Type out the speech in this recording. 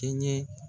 Kɛɲɛ